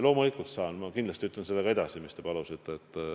Loomulikult saan, ma ütlen kindlasti edasi selle, mis te palusite.